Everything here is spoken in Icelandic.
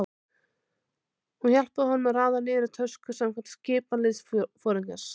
Hún hjálpaði honum að raða niður í tösku samkvæmt skipan liðsforingjans.